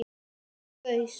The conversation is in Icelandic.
Hann gaus